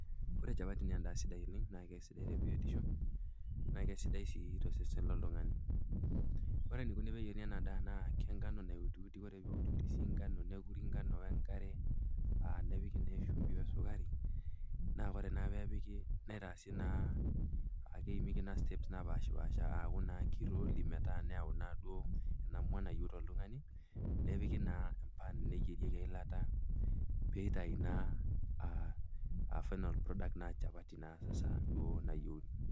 Ore chapati naa endaa sidai oleng' naake sidai te biotisho, naake sidai sii tosesen loltung'ani, ore eneikuni pee eyeruni ena daa naake enkano nautiuti, naake ore pee eutiuti sii ngano, nekuri ngano we enkare aa nepiki naa eshumbi we esukari, naa ore naa pee epiki neeitasi naa akeimieki naa steps napaashi[pasha aaku naa keiroli metaa neyau naa ena mwa nayou oltung'ani, nepiki naa empan, neyierieki eilata, peeitayu naa aa final product aa chapati naa saasa duo nayiouni.